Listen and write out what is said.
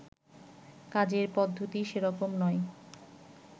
কাজের পদ্ধতি সেরকম নয়